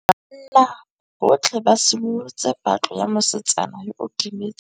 Banna botlhê ba simolotse patlô ya mosetsana yo o timetseng.